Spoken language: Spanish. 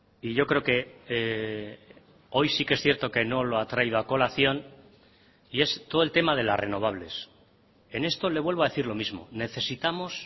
y yo creo que hoy sí que es cierto que no lo ha traído a colación y es todo el tema de las renovables en esto le vuelvo a decir lo mismo necesitamos